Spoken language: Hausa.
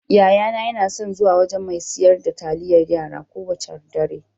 Yayana yana son zuwa wajan mai siyar da taliyar yara kowacce dare.